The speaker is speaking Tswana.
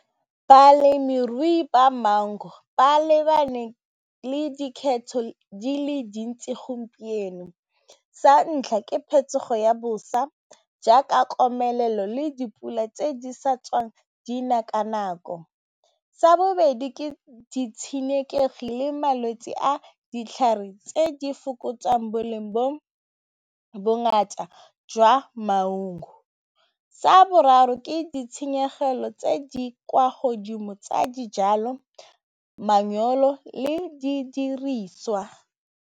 Balemirui ba mango ba lebane le di le dintsi gompieno, sa ntlha ke phetogo ya bosa jaaka komelelo le dipula tse di sa tswang di na ka nako, sa bobedi ke ditshenekegi le malwetse a ditlhare tse di fokotsang boleng bo bongata jwa maungo, sa boraro ke ditshenyegelo tse di kwa godimo tsa dijalo le didiriswa.